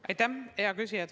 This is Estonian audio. Aitäh, hea küsija!